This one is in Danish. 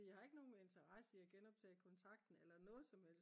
jeg har ikke nogen interesse i at genoptage kontakten eller noget som helst